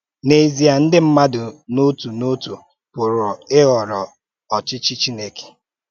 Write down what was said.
N’èzìè, ndị mmádụ̀ n’òtù n’òtù pụ̀rù̀ íhòrò ọ̀chịchì Chìnèkè